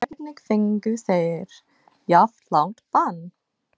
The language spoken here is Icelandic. Hvernig fengu þeir jafn langt bann?